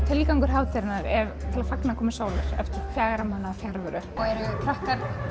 tilgangur hátíðarinnar er að fagna komu sólarinnar eftir fjögurra mánaða fjarveru eru krakkar